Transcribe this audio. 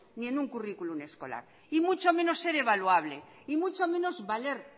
ni en un currículum escolar y mucho menos ser evaluable y mucho menos valer